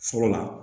Fɔlɔ la